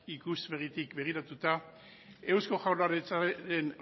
ikuspegitik begiratuta eusko jaurlaritzaren